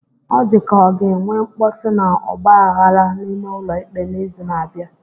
O dịka ka ọ ga-enwe mkpọtụ na ọgba aghara n'ime ụlọ ikpe n'izu na-abịa